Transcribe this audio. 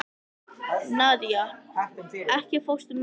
Nadía, ekki fórstu með þeim?